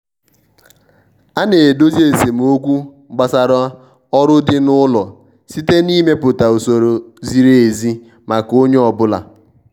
a na-edozi esemokwu gbasara ọrụ di n'ụlọ site na ịmepụta usoro ziri ezi maka onye ọbụla.